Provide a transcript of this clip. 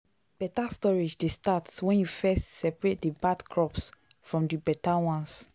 better storage dey start when you first separate the bad crops from the better ones.